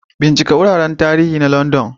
Bincika wuraren tarihi na London